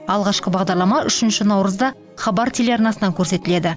алғашқы бағдарлама үшінші наурызда хабар телеарнасынан көрсетіледі